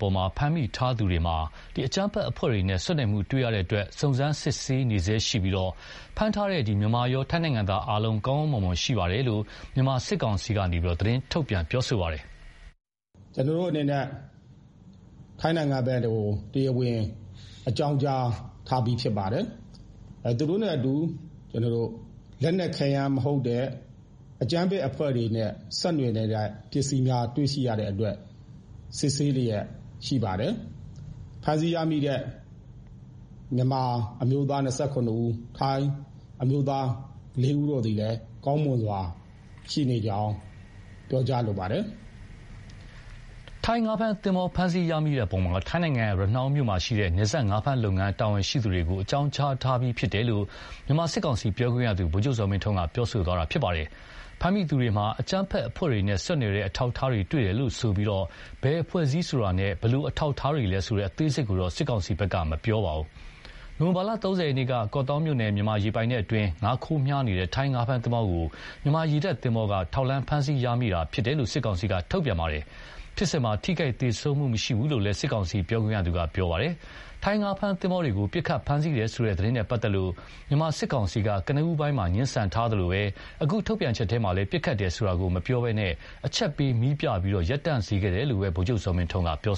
ပေါ်ဖမ်းမိသူထားသူတွေမှာ အကြမ်းဖက်အဖွဲ့တွေနဲ့ ဆက်နွယ်မှုတွေ့ရတဲ့အတွက် စုံစမ်းစစ်ဆေးနေဆဲရှိပြီး၊ ဖမ်းဆီးထားတဲ့ မြန်မာရော ထိုင်းနိုင်ငံသားအားလုံး ကောင်းကောင်းမွန်မွန်ရှိနေတယ်လို့ မြန်မာစစ်ကောင်စီက သတင်းထုတ်ပြန်ပါတယ်။ “ ကျနော်တို့အနေနဲ့ ထိုင်းနိုင်ငံဖက်ကို တရားဝင်အကြောင်းကြားထားပြီးဖြစ်ပါတယ်။ သူတို့နဲ့အတူ လက်နက်ခဲယမ်းမဟုတ်တဲ့ အကြမ်းဖက်အဖွဲ့တွေနဲ့ ဆက်နွယ်နေတဲ့ ပစ္စည်းများတွေ့ရှိရတဲ့အတွက် စစ်ဆေးလျှက်ရှိပါတယ်။ ဖမ်းဆီးရမိတဲ့ မြန်မာအမျိုးသား ၂၇ဦး ၊ ထိုင်းအမျိုးသား လေးဦးတို့သည်လည်း ကောင်းမွန်စွာ ရှိနေကြောင်း ပြောကြားလိုပါတယ်။” ထိုင်းငါးဖမ်းသင်္ဘော ဖမ်းဆီးရမိတဲ့အပေါ် ထိုင်းနိုင်ငံ ရနှောင်းမြို့မှာရှိတဲ့ နယ်စပ်ငါးဖမ်းလုပ်ငန်း တာဝန်ရှိသူတွေကို အကြောင်းကြားပြီးဖြစ်တယ်လို့ မြန်မာစစ်ကောင်စီ ပြောခွင့်ရသူ ဗိုလ်ချုပ်ဇော်မင်းထွန်းက ပြောသွားတာပါ။ ဖမ်းမိသူတွေမှာ အကြမ်းဖက်အဖွဲ့တွေနဲ့ဆက်နွယ်တဲ့အထောက်အထားတွေ့တယ်လို့ပဲဆိုပြီး၊ ဘယ်အဖွဲ့အစည်းဆိုတာနဲ့ ဘယ်လိုအထောက်အထားတွေလဲဆိုတဲ့ အသေးစိတ်ကိုတော့ စစ်ကောင်စီက မထုတ်ပြန်ပါဘူး။ နိုဝင်ဘာလ ၃၀ ရက်နေ့က ကော့သောင်းမြို့နယ် မြန်မာရေပိုင်နက်အတွင်း ငါးခိုးဖမ်းနေတဲ့ ထိုင်းငါးဖမ်းသင်္ဘောကို မြန်မာရေတပ်သင်္ဘောက ထောက်လှမ်း ဖမ်းဆီးရမိခဲ့တာဖြစ်တယ်လို့ စစ်ကောင်စီက ထုတ်ပြန်ပါတယ်။ ဖြစ်စဉ်မှာ ထိခိုက်သေဆုံးမှုမရှိဘူးလို့လည်း စစ်ကောင်စီပြောခွင့်ရသူက ပြောပါတယ်။ ထိုင်းငါးဖမ်းသင်္ဘောတွေကို ပစ်ခတ်ဖမ်းဆီးတယ်ဆိုတဲ့သတင်းနဲ့ပတ်သက်လို့ မြန်မာစစ်ကောင်စီက ကနဦးပိုင်းမှာ ငြင်းဆန်ထားသလိုပဲ၊ အခုထုတ်ပြန်ချက်မှာလည်း ပစ်ခတ်တယ်ဆိုတာ မပြောပဲ အချက်ပေး မီးပြပြီး ရပ်တန့်စေခဲ့တယ်လို့ပဲ ဗိုလ်ချုပ်ဇော်မင်းထွန်းက ပြော